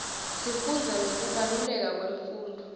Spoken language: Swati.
sifundza ngekubaluleka kwemfundvo